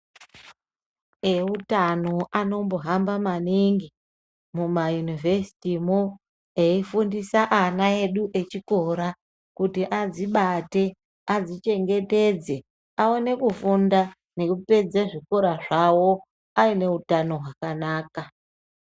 Eutano anombohamba maningi mumayunivhesti mwo eifundisa aña edu echikora kuti adzibate adzichengetedze aone kufunda nekupedze zvikora zvawo aine utano hwakanaka.